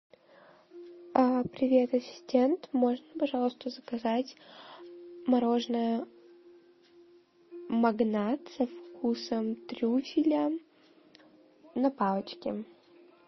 привет ассистент можно пожалуйста заказать мороженое магнат со вкусом трюфеля на палочке